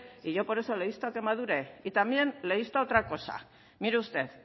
y yo por esto le insto a que madure y también le insto a otra cosa mire usted